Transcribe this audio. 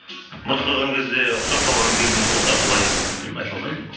мұрт қойған кезде ұқсап қалған кезіміз болды ал былай енді білмеймін айта алмайын